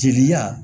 Jeliya